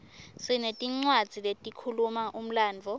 sinetincwadzi letikhuluma umlandvo